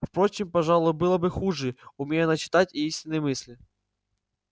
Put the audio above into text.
впрочем пожалуй было бы хуже умей она читать истинные мысли